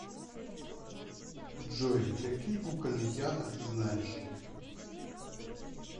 джой какие кукольный театр ты знаешь